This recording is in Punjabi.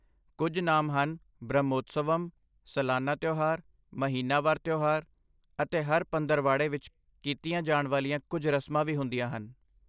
ਕੁੱਝ ਨਾਮ ਹਨ ਬ੍ਰਹਮੋਤਸਵਮ, ਸਲਾਨਾ ਤਿਉਹਾਰ, ਮਹੀਨਾਵਾਰ ਤਿਉਹਾਰ ਅਤੇ ਹਰ ਪੰਦਰਵਾੜੇ ਵਿੱਚ ਕੀਤੀਆਂ ਜਾਣ ਵਾਲੀਆਂ ਕੁੱਝ ਰਸਮਾਂ ਵੀ ਹੁੰਦੀਆਂ ਹਨ